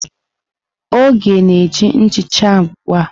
Oge na-eji nchicha ugbu a.